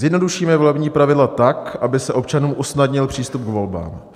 "Zjednodušíme volební pravidla tak, aby se občanům usnadnil přístup k volbám.